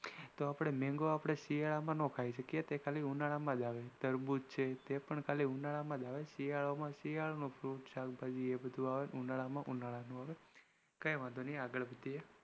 તો આપણે mango શિયાળા માં નાઈ ખાઈ એ ઉનાળા માંજ આવે જેમકે તરબૂજ છે એ પણ ખાલી ઉનાળા માં આવે શિયાળા માં શિયાળા ના fruit આવે અને ઉનાળા માં ઉનાળા ના આવે